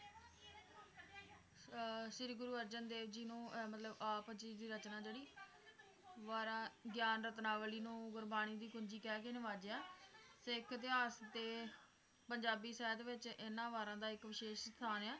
ਅਹ ਸ਼੍ਰੀ ਗੁਰੂ ਅਰਜਨ ਦੇਵ ਜੀ ਨੂੰ ਅਹ ਮਤਲਬ ਆਪ ਜੀ ਦੀ ਰਚਨਾ ਜਿਹੜੀ ਵਾਰਾਂ ਗਿਆਨਰਤਨਾਵਲੀ ਨੂੰ ਗੁਰਬਾਣੀ ਦੀ ਪੂੰਜੀ ਕਹਿ ਕੇ ਨਵਾਜਿਆ ਸਿੱਖ ਇਤਿਹਾਸ ਤੇ ਪੰਜਾਬੀ ਸਾਹਿਤ ਵਿਚ ਇਹਨਾਂ ਵਾਰਾਂ ਦਾ ਵਿਸ਼ੇਸ਼ ਸਥਾਨ ਆ